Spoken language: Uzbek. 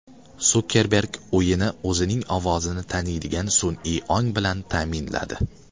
Sukerberg uyini o‘zining ovozini taniydigan sun’iy ong bilan ta’minladi.